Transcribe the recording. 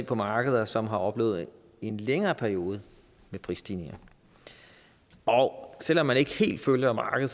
på markeder som har oplevet en længere periode med prisstigninger og selv om man ikke helt følger markedet